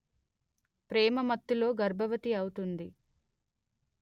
ప్రేమ మత్తులో గర్భవతి అవుతుంది